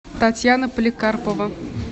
татьяна поликарпова